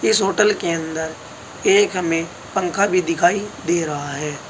इस होटल के अंदर एक हमे पंखा भी दिखाई दे रहा है।